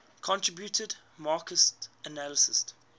contributed marxist analyses